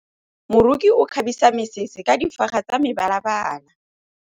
Moroki o kgabisa mesese ka difaga tsa mebalabala.